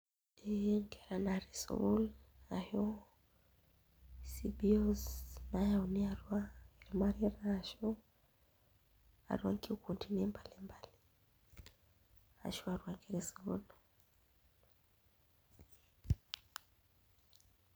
Ee enkera naatii sukuul ashu CBO's naayauni atua ashu atua nkikundini mbali mbali ashu atua esokoni.